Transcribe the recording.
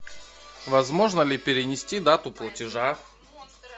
возможно ли перенести дату платежа